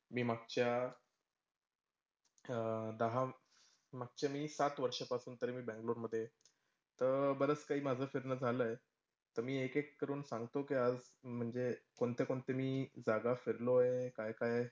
मी मागच्या अह दहा मागच्या मी सात वर्षापासून तरी मी बँगलोर मध्येय, तं बरंच काही माझं फिरणं झालंय तं मी एकेक करून सांगतो कि, आज म्हणजे कोणते कोणते मी जागा फिरलोए काय काय?